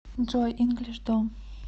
джой инглиш дом